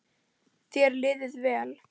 Þér liði vel.